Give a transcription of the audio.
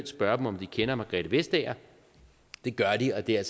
spørge om de kender margrethe vestager det gør de og det er